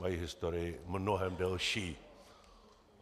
Mají historii mnohem delší.